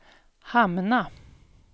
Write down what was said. hamna